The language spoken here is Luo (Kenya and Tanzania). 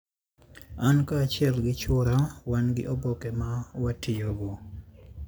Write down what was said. An kaachiel gi chwora wan gi oboke ma watiyogo.